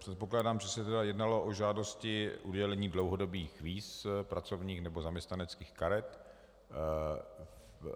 Předpokládám, že se tedy jednalo o žádosti udělení dlouhodobých víz, pracovních nebo zaměstnaneckých karet.